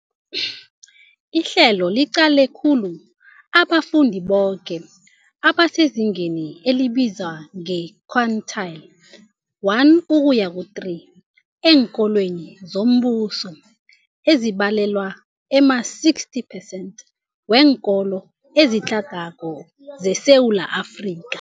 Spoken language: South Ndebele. Ihlelo liqale khulu abafundi boke abasezingeni elibizwa nge-quintile 1-3 eenkolweni zombuso, ezibalelwa ema-60 percent weenkolo ezitlhagako zeSewula Afrika.